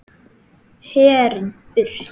Herinn burt!